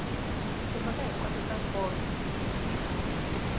timhaka hinkwato ta nkoka ti